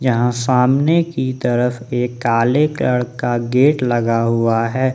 सामने की तरफ एक काले कलर का गेट लगा हुआ है।